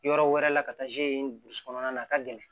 Yɔrɔ wɛrɛ la ka taa kɔnɔna na ka gɛlɛn